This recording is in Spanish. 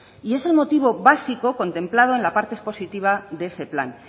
es el motivo básico contemplado en la parte expositiva de ese plan